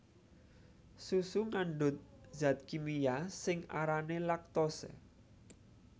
Susu ngandhut zat kimia sing arané laktose